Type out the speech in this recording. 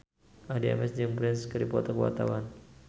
Addie MS jeung Prince keur dipoto ku wartawan